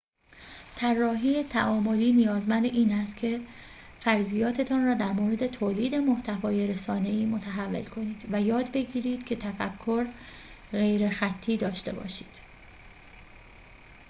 طراحی تعاملی نیازمند این است که فرضیاتتان را در مورد تولید محتوای رسانه‌ای متحول کنید و یاد بگیرید که تفکر غیرخطی داشته باشید